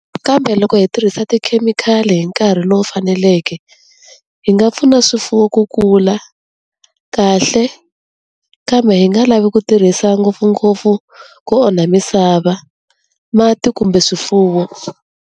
Kambe loko hi tirhisa tikhemikhali hi nkarhi lowu faneleke, hi nga pfuna swifuwo ku kula kahle, kambe hi nga lavi ku tirhisa ngopfungopfu ku onha misava, mati kumbe swifuwo.